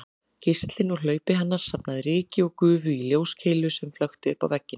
Geislinn úr hlaupi hennar safnaði ryki og gufu í ljóskeilu sem flökti uppá vegginn